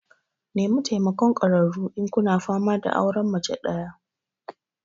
Nemi taimakon ƙwararru idan kuna fama da auren mace ɗaya.